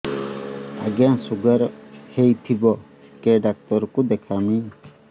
ଆଜ୍ଞା ଶୁଗାର ହେଇଥିବ କେ ଡାକ୍ତର କୁ ଦେଖାମି